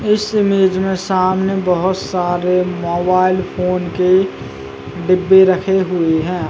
इस इमेज में सामने बहोत सारे मोबाइल फोन के डिब्बे रखे हुए हैं।